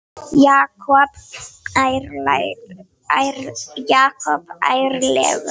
Jakob ærlegur